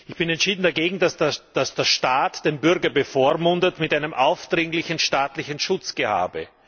Ich bin entschieden dagegen, dass der Staat den Bürger bevormundet mit einem aufdringlichen staatlichen Schutzgehabe.